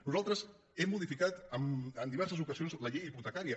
nosaltres hem modifi·cat en diverses ocasions la llei hipotecària